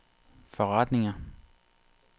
forretninger